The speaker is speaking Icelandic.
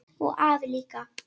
Og afi líka!